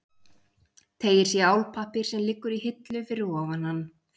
Teygir sig í álpappír sem liggur í hillu fyrir ofan hann.